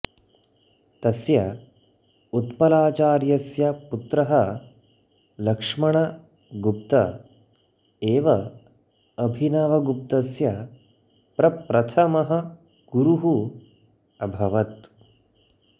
तस्य उत्पलाचार्यस्य पुत्रः लक्ष्मणगुप्त एव अभिनवगुप्तस्य प्रप्रथमः गुरुः अभवत्